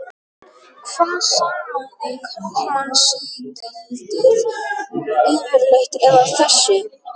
Hvað sannaði karlmannsígildið yfirleitt, eða þessi